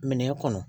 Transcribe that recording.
Minɛn kɔnɔ